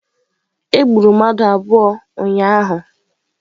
Egburu mmadụ abụọ ụnyahụ.